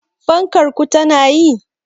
Fankar ku tana yi?